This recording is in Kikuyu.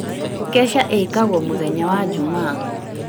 Keca ĩĩkagwo mũthenya wa Jumaa